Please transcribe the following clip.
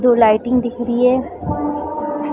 दो लाइटिंग दिख रही हैं।